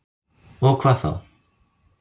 Og hvað þá?